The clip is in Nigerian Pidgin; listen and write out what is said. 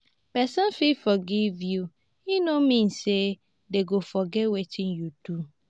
person fit forgive you e no mean say dem go forget wetin you do.